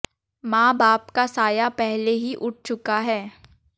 मां बाप का साया पहले ही उठ चुका है